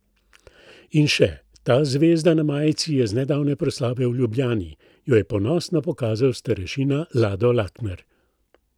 In še: 'Ta zvezda na majici je z nedavne proslave v Ljubljani,' jo je ponosno pokazal starešina Lado Lakner.